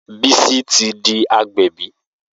Bisi ti di agbẹ̀bí